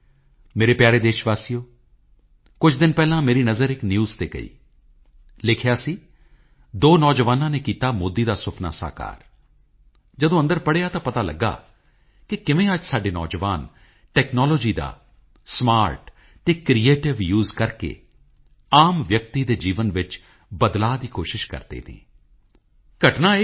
ਮੇਰੇ ਪਿਆਰੇ ਦੇਸ਼ਵਾਸੀਓ ਅੱਜ ਜਦ ਅਸੀਂ ਨੇਤਾ ਜੀ ਸੁਭਾਸ਼ ਚੰਦਰ ਬੋਸ ਬਾਰੇ ਚਰਚਾ ਕਰ ਰਹੇ ਹਾਂ ਉਹ ਵੀ ਮਨ ਕੀ ਬਾਤ ਵਿੱਚ ਤਾਂ ਮੈਂ ਤੁਹਾਡੇ ਨਾਲ ਨੇਤਾ ਜੀ ਦੀ ਜ਼ਿੰਦਗੀ ਨਾਲ ਜੁੜਿਆ ਇਕ ਕਿੱਸਾ ਸਾਂਝਾ ਕਰਨਾ ਚਾਹੁੰਦਾ ਹਾਂ ਮੈਂ ਹਮੇਸ਼ਾ ਤੋਂ ਰੇਡੀਓ ਨੂੰ ਲੋਕਾਂ ਨਾਲ ਜੁੜਨ ਦਾ ਇੱਕ ਮਹੱਤਵਪੂਰਨ ਜ਼ਰੀਆ ਮੰਨਿਆ ਹੈ ਉਸੇ ਤਰ੍ਹਾਂ ਨੇਤਾ ਜੀ ਦਾ ਵੀ ਰੇਡੀਓ ਨਾਲ ਕਾਫੀ ਗਹਿਰਾ ਰਿਸ਼ਤਾ ਸੀ ਅਤੇ ਉਨ੍ਹਾਂ ਨੇ ਵੀ ਦੇਸ਼ਵਾਸੀਆਂ ਨਾਲ ਸੰਵਾਦ ਕਰਨ ਲਈ ਰੇਡੀਓ ਨੂੰ ਚੁਣਿਆ ਸੀ